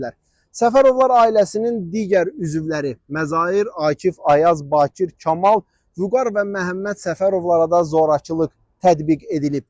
Səfərovlar ailəsinin digər üzvləri Məzahir, Akif, Ayaz, Bakir, Kamal, Vüqar və Məhəmməd Səfərovlara da zorakılıq tətbiq edilib.